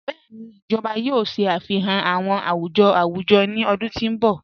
Bẹẹni, ijọba yòò ṣáfíhàn àwùjọ̀ àwùjọ̀ ní ọ̀dún tó nbọ̀.